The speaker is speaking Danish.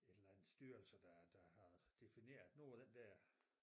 Et eller andet styrelse der der har defineret nu er den der